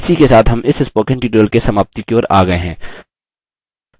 इसी के साथ हम इस spoken tutorial के समाप्ति की ओर आ गये हैं